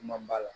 Man b'a la